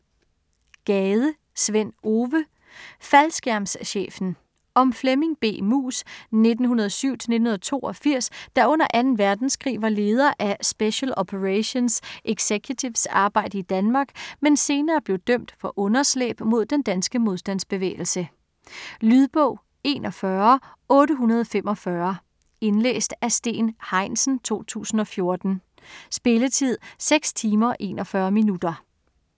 Gade, Sven Ove: Faldskærmschefen Om Flemming B. Muus (1907-1982) der under 2. verdenskrig var leder af Special Operations Executive's arbejde i Danmark, men senere blev dømt for underslæb mod den danske modstandsbevægelse. Lydbog 41845 Indlæst af Steen Heinsen, 2014. Spilletid: 6 timer, 41 minutter.